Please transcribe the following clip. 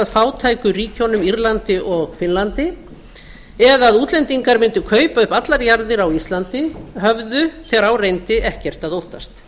fátæku ríkjunum írlandi og finnlandi eða útlendingar mundu kaupa upp allar jarðir á íslandi höfðu þegar á reyndi ekkert að óttast